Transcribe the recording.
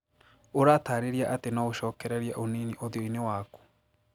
Ũratarĩria atĩ no ũcokererie ũnini ũthiũ-inĩ waku.